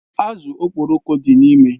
Azụ Okporoko dị n'ime.